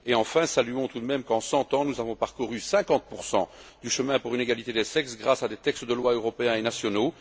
Enfin, saluons tout de même qu'en 100 ans, nous avons parcouru 50 du chemin pour une égalité des sexes grâce à des textes de loi européens et nationaux.